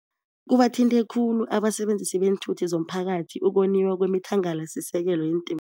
Kubathinte khulu abasebenzisi beenthuthi zomphakathi ukoniwa kwemithangalasisekelo